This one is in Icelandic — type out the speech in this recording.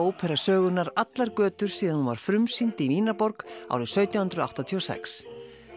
ópera sögunnar allar götur síðan hún var frumsýnd í Vínarborg árið sautján hundruð áttatíu og sex